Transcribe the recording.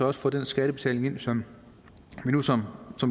også får den skattebetaling ind som vi nu som